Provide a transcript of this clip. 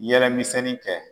Yɛlɛ misɛnni kɛ